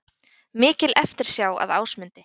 Mikil eftirsjá að Ásmundi